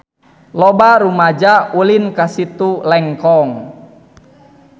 Loba rumaja ulin ka Situ Lengkong